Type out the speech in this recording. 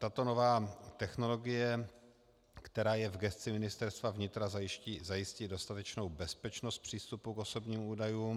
Tato nová technologie, která je v gesci Ministerstva vnitra, zajistí dostatečnou bezpečnost přístupu k osobním údajům.